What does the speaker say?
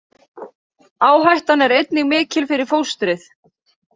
Áhættan er einnig mikil fyrir fóstrið.